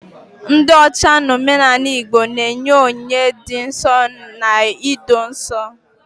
ndị ocha n'omenala Igbo na-enye onyinye dị nsọ na ido nsọ